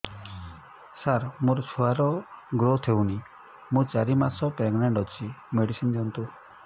ସାର ମୋର ଛୁଆ ର ଗ୍ରୋଥ ହଉନି ମୁ ଚାରି ମାସ ପ୍ରେଗନାଂଟ ଅଛି ମେଡିସିନ ଦିଅନ୍ତୁ